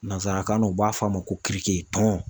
Nanzarakan na u b'a f'a ma ko kirike tɔn